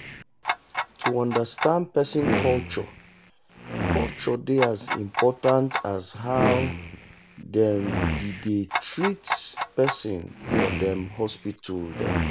to understand person culture culture dey as important as how dem be dey treat person for them hospital dem.